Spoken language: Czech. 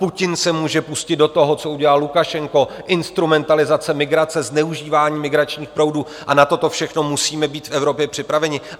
Putin se může pustit do toho, co udělal Lukašenko - instrumentalizace migrace, zneužívání migračních proudů - a na toto všechno musíme být v Evropě připraveni.